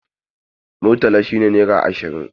Murtala shi ne naira ashirin